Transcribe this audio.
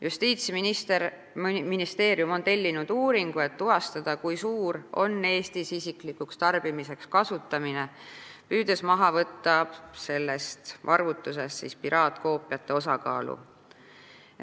Justiitsministeerium on tellinud uuringu, et tuvastada, kui palju Eestis isiklikuks tarbimiseks kasutatakse, püüdes sellest arvutusest maha võtta piraatkoopiate osakaalu.